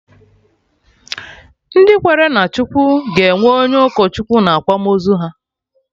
Ndị kwere na Chukwu ga-enwe onye ụkọ Chukwu na akwamozu ha